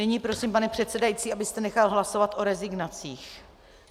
Nyní prosím, pane předsedající, abyste nechal hlasovat o rezignacích.